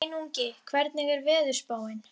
Sveinungi, hvernig er veðurspáin?